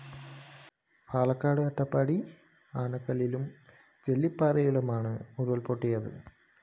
പാലക്കാട് അട്ടപ്പാടി ആനക്കല്ലിലും ജെല്ലിപ്പാറയിലുമാണ് ഉരുള്‍പൊട്ടിയത്